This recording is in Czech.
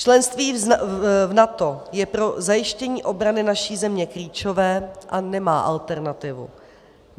Členství v NATO je pro zajištění obrany naší země klíčové a nemá alternativu.